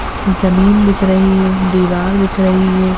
जमीन दिख रही है दीवार दिख रही है।